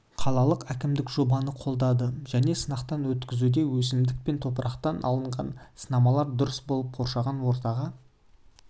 қалалық әкімдік жобаны қолдады және сынақтан өткізуде өсімдік пен топырақтан алынған сынамалар дұрыс болып қоршаған ортаға